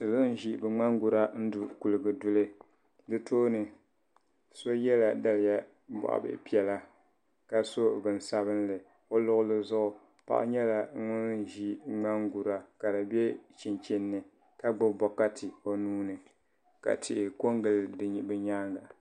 Salo n ʒi bɛ ŋmangura n du kuliga duli di tooni so yela daliya boɣabihi piɛla ka so bob'sabinli o luɣuli zuɣu paɣa nyɛla ŋun ʒi ŋmangura ka di be chinchini ni ka gbibi bokati o nuuni ka tihi kongili bi nyaanga.